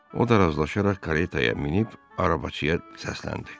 O da razılaşaraq karetaya minib arabacıya səsləndi: